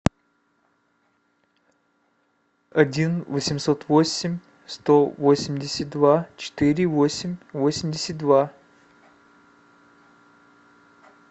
один восемьсот восемь сто восемьдесят два четыре восемь восемьдесят два